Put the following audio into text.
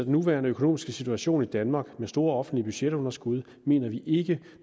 nuværende økonomiske situation i danmark med store offentlige budgetunderskud mener vi ikke